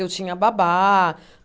Eu tinha babá.